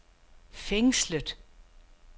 fængslet